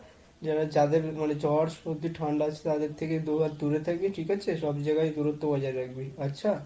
যারা যাদের মানে জ্বর সর্দি ঠান্ডা আছে তাদের থেকে দুহাত দূরে থাকবি। ঠিক আছে? সব জায়গায় দূরত্ব বজায় রাখবি। আচ্ছা?